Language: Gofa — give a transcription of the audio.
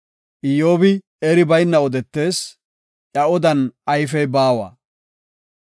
‘Iyyobi eri bayna odetees; Iya odan ayfey baawa.’